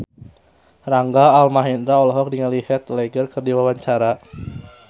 Rangga Almahendra olohok ningali Heath Ledger keur diwawancara